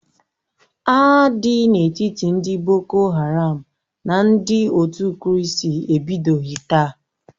Agha dị n'etiti ndị boko haram na ndị otu kristi ebidoghi taa.